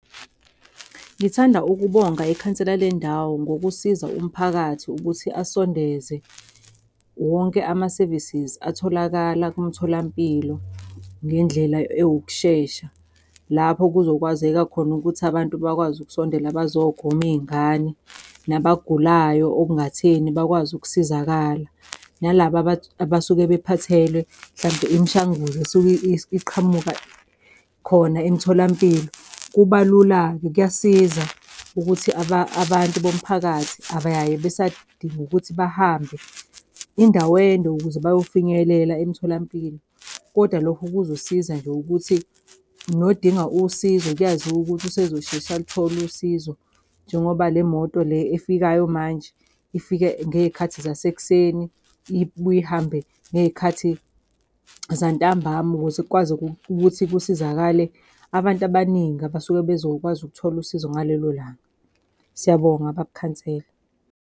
Ngithanda ukubonga ikhansela lendawo ngokusiza umphakathi ukuthi asondeze wonke ama-services atholakala kumtholampilo ngendlela ewukushesha. Lapho kuzokwazeka khona ukuthi abantu bakwazi ukusondela bazogoma iy'ngane, nabagulayo okungatheni bakwazi ukusizakala, nalaba abasuke bephathelwe hlampe imishanguzo esuke iqhamuka khona emtholampilo. Kuba lula-ke, kuyasiza ukuthi abantu bomphakathi abayaye besadinga ukuthi bahambe indawo ende ukuze bayofinyelela emtholampilo. Kodwa lokho kuzosiza nje ukuthi nodinga usizo, kuyaziwa ukuthi usezosheshe aluthole usizo njengoba le moto le efikayo manje ifika ngey'khathi zasekuseni, ibuye ihambe ngey'khathi zantambama. Ukuze kukwazi ukuthi kusizakale abantu abaningi abasuke bezokwazi ukuthola usizo ngalelo langa. Siyabonga, baba ukhansela.